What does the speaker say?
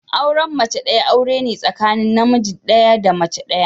Auren mace daya aure ne tsakanin namiji daya da mace daya.